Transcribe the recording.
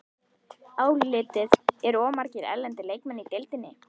Álitið: Eru of margir erlendir leikmenn í deildinni?